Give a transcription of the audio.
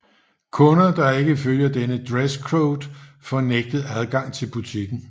Kunder der ikke følger denne dresscode får nægtet adgang til butikken